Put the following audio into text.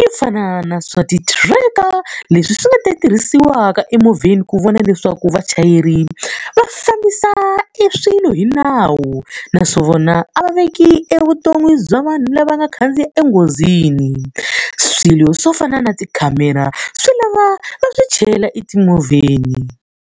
yo fana na swa ti-tracker leswi swi nga ta tirhisiwaka etimovheni ku vona leswaku vachayeri va fambisa eswilo hi nawu. Naswona a va veki evuton'wini bya vanhu lava nga khandziya enghozini. Swilo swo fana na tikhamera swi lava va swi chela etimovheni.